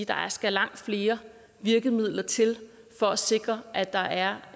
der skal langt flere virkemidler til for at sikre at der er